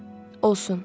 olsun.